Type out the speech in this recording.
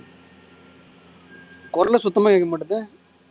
குரலு சுத்தமா கேட்க மாட்டேங்குது